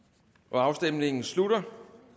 afstemningen slutter